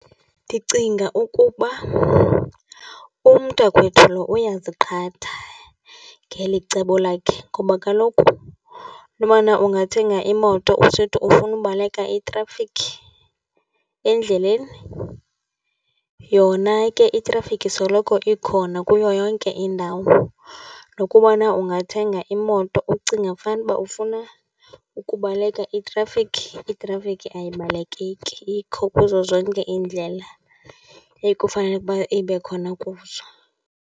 Ndicinga ukuba umntakwethu lo uyaziqatha ngeli cebo lakhe. Ngoba kaloku into bana ungathenga imoto usithi ufuna ubaleka itrafikhi endleleni yona ke itrafikhi soloko ikhona kuyo yonke indawo. Nokubana ungathenga imoto ucinga fanuba ufuna ukubaleka itrafikhi, itrafikhi ayibalekeki, ikho kuzo zonke iindlela ekufanele ukuba ibe khona kuzo.